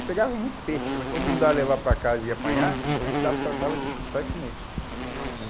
E pegava muito peixe, mas como não dá levar para casa e apanhar, a gente dava tratava de fritar e comer, né?